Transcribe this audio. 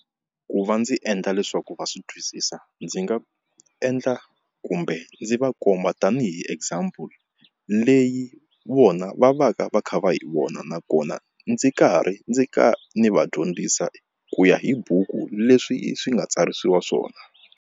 Ku va ndzi endla leswaku va swi twisisa ndzi nga endla kumbe ndzi va komba tanihi example leyi vona va va ka va kha va hi vona nakona ndzi karhi ndzi ka ni va dyondzisa ku ya hi buku leswi swi nga tsarisiwa swona.